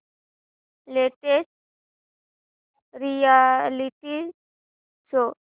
latest reality show